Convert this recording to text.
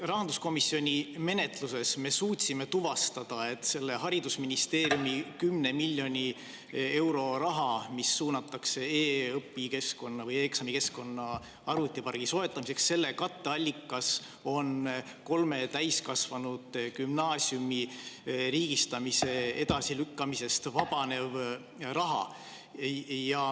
Rahanduskomisjoni menetluses me suutsime tuvastada haridusministeeriumi 10 miljoni euro kohta, mis suunatakse e‑õpikeskkonna või e‑eksamikeskkonna arvutipargi soetamiseks, et selle katteallikas on kolme täiskasvanugümnaasiumi riigistamise edasilükkamisest vabanev raha.